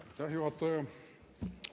Aitäh, juhataja!